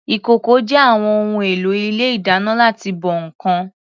Ìkòkò jẹ́ àwọn ohun èlò ilé ìdáná láti bọ ǹkan.